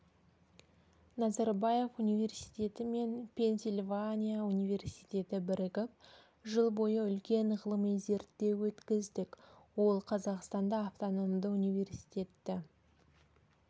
назарбаев университет мен пенсильвания университеті бірігіп жыл бойы үлкен ғылыми зерттеу өткіздік ол қазақстанда автономды университетті